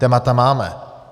Témata máme.